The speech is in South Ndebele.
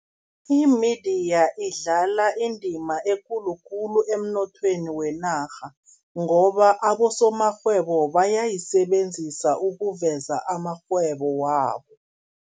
Imediya idlala indima ekulu khulu emnothweni wenarha, ngoba abosomarhwebo bayayisebenzisa ukuveza amarhwebo wabo.